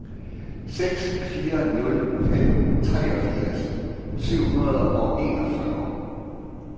seks fire nul fem treogfirs syv hundrede og enogfyrre